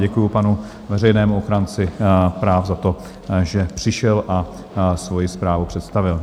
Děkuji panu veřejnému ochránci práv za to, že přišel a svoji zprávu představil.